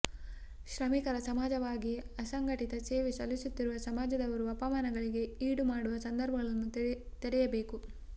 ಶ್ರಮಿಕರ ಸಮಾಜವಾಗಿ ಅಸಂಘಟಿತ ಸೇವೆ ಸಲ್ಲಿಸುತ್ತಿರುವ ಸಮಾಜದವರು ಅಪಮಾನಗಳಿಗೆ ಈಡು ಮಾಡುವ ಸಂದರ್ಭಗಳನ್ನು ತಡೆಯಬೇಕು